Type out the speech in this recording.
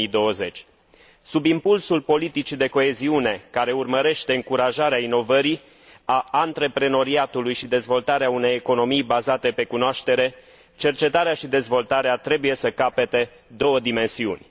2020. Sub impulsul politicii de coeziune, care urmărește încurajarea inovării și a antreprenoriatului și dezvoltarea unei economii bazate pe cunoaștere, cercetarea și dezvoltarea trebuie să capete două dimensiuni.